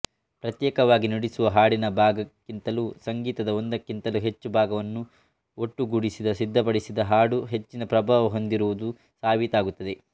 ಪ್ರತ್ಯೇಕವಾಗಿ ನುಡಿಸುವ ಹಾಡಿನ ಭಾಗಕ್ಕಿಂತಲೂ ಸಂಗೀತದ ಒಂದಕ್ಕಿಂತಲೂ ಹೆಚ್ಚು ಭಾಗವನ್ನು ಒಟ್ಟುಗೂಡಿಸಿ ಸಿದ್ಧಪಡಿಸಿದ ಹಾಡು ಹೆಚ್ಚಿನ ಪ್ರಭಾವ ಹೊಂದಿರುವುದು ಸಾಬೀತಾಗುತ್ತದೆ